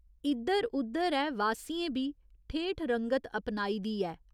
इद्धर उद्धर ऐ वासियें बी ठेठ रंगत अपनाई दी ऐ।